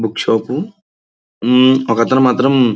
books shop హు ఒకతను మాత్రం --